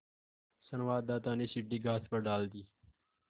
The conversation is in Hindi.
संवाददाता ने सीढ़ी घास पर डाल दी